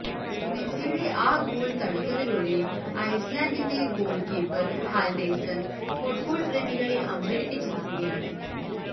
മെസ്സിയുടെ ആ ഗോൾ തടുത്തതിലൂടെ ഐസ്ലാൻഡിന്റെ ഗോൾ കീപ്പർ ഹാൽഡേഴ്സൺ ഫുട്ബോൾ പ്രേമികളെ അമ്പരിപ്പിച്ചിരിക്കുകയാണ്